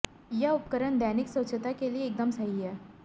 यह उपकरण दैनिक स्वच्छता के लिए एकदम सही है